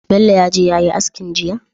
Bello yaje yayi askin jiya?